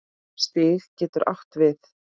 Stig getur átt við